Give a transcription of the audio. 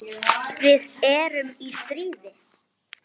Við erum í stríði.